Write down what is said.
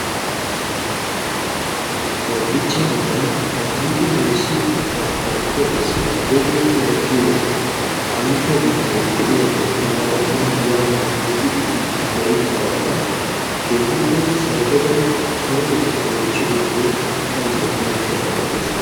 Hobichcha amban kaatolikke woossiyo keettaa kaalettiya issi Abebe Cora giyo qantta bitanee de'iyagee tanaara zino giyaa hordofidi biidi gayttidaaga keehippe sarotada sarotetaabaa oychchidoogee taayo hanetiyaba odiis.